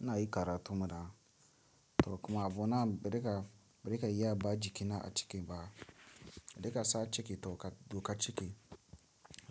Ina yi karatun mana, to kuma abu na breka, breka iya ba jiki na a ciki ba. Breka sa ciki to duka ciki.